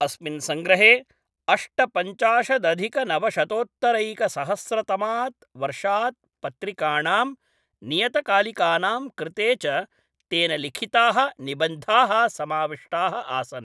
अस्मिन् सङ्ग्रहे अष्टपञ्चाशदधिकनवशतोत्तरैकसहस्रतमात् वर्षात् पत्रिकाणां नियतकालिकानां कृते च तेन लिखिताः निबन्धाः समाविष्टाः आसन्।